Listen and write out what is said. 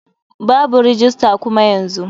Babu rajistar kuma yanzu.